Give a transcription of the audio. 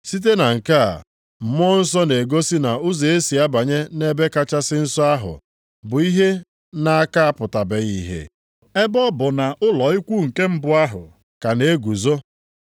Site na nke a, Mmụọ Nsọ na-egosi na ụzọ e si abanye nʼEbe Kachasị Nsọ ahụ bụ ihe na a ka apụtabeghị ihe, ebe ọ bụ na ụlọ ikwu nke mbụ ahụ ka na-eguzo.